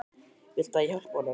Viltu að ég hjálpi honum?